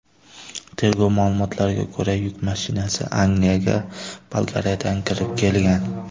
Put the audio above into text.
Tergov ma’lumotlariga ko‘ra, yuk mashinasi Angliyaga Bolgariyadan kirib kelgan.